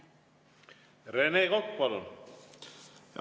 Rene Kokk, palun!